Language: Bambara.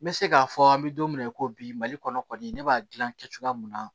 N bɛ se k'a fɔ an bɛ don min na i ko bi mali kɔnɔ kɔni ne b'a dilan cogoya mun na